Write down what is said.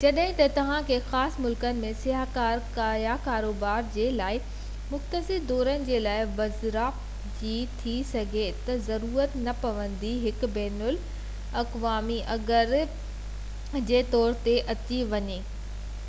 جڏهن ته توهان کي خاص ملڪن ۾ سياح يا ڪاروبار جي لاءِ مختصر دورن جي لاءِ ويزا جي ٿي سگهي ٿو ضرورت نه پوي هڪ بين القوامي اگرد جي طور تي اتي وڃڻ وارن کي عام طور تي ڪنهن عام سياح جي حيثيت سان اتي وڃڻ وارن کان وڌيڪ ڊگهو عرصو رهڻ جي ضرورت هوندي آهي